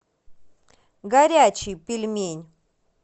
горячий пельмень